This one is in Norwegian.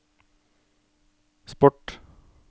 sport